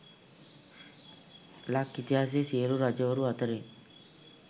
ලක් ඉතිහාසයේ සියලු රජවරු අතරින්